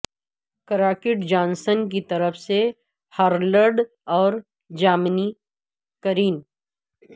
Crockett Johnson کی طرف سے ہارلڈ اور جامنی کرین